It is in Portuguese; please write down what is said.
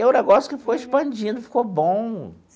E é o negócio que foi expandindo, ficou bom.